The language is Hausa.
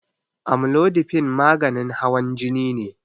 Amlodipine maganin hawan jini ne.